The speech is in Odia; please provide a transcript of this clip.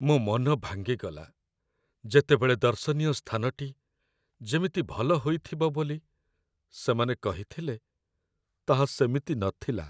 ମୋ ମନ ଭାଙ୍ଗିଗଲା, ଯେତେବେଳେ ଦର୍ଶନୀୟ ସ୍ଥାନଟି ଯେମିତି ଭଲ ହୋଇଥିବ ବୋଲି ସେମାନେ କହିଥିଲେ ତାହା ସେମିତି ନଥିଲା।